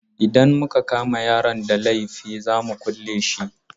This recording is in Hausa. Idan muka kama yaron da laifi za mu kule shi.